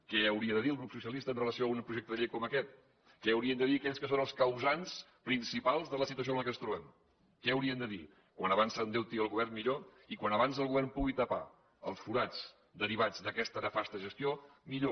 què hauria de dir el grup socialista amb relació a un projecte de llei com aquest què haurien de dir aquells que són els causants principals de la situació en què ens trobem què haurien de dir com abans s’endeuti el govern millor i com abans el govern pugui tapar els forats derivats d’aquesta nefasta gestió millor